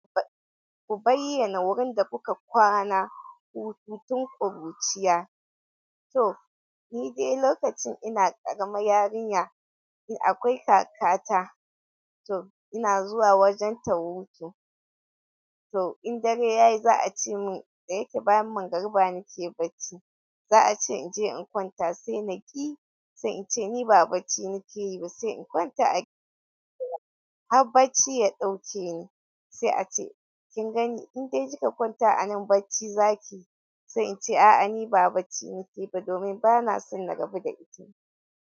Ku bayyana wurin da kuka kwana, hutun tun ƙuruciya. To ni dai lokacin ina ƙarama yarinya, in akwai kakata to ina zuwa wajen ta hutu. To in dare yayi za a ce mun, da yake bayan mangariba nake bacci, za a ce in je in kwanta sai na ƙi, sai in ce ni ba bacci nake yi ba sai in kwanta a gida. Har bacci ya ɗauke ni sai a ce kin gani in dai kika kwanta a nan bacci za ki yi, sai in ce a'a ni ba bacci nake ba domin bana son na rabu da ita.